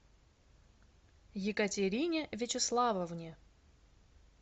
екатерине вячеславовне